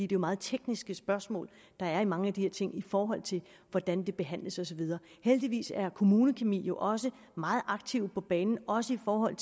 det er meget tekniske spørgsmål der er i mange af de her ting i forhold til hvordan det behandles og så videre heldigvis er kommunekemi jo også meget aktive på banen også i forhold